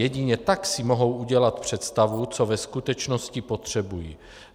Jedině tak si mohou udělat představu, co ve skutečnosti potřebují.